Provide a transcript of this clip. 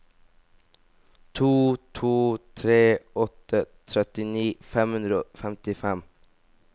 to to tre åtte trettini fem hundre og femtifem